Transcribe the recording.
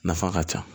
Nafa ka ca